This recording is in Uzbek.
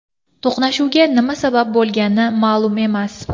To‘qnashuvga nima sabab bo‘lgani ma’lum emas.